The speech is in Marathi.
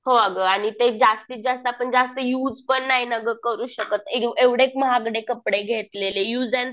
हो अगं. आणि ते जास्तीत जास्त आपण जास्त युज पण नाही ना गं करू शकत. एवढे महागडे कपडे घेतलेले युज अँड